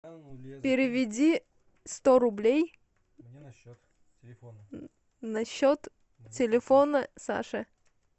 переведи сто рублей на счет телефона саши